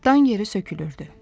Dan yeri sökülürdü.